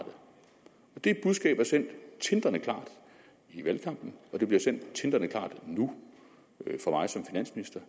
det budskab er sendt tindrende klart i valgkampen det bliver sendt tindrende klart nu fra mig som finansminister